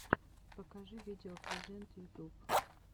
покажи видео презент ютуб